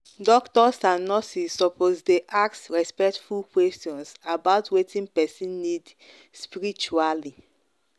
doctors and nurses suppose dey ask respectful questions about wetin person need spiritually.